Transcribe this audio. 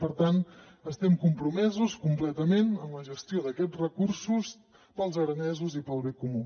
per tant estem compromesos completament amb la gestió d’aquests recursos per als aranesos i per al bé comú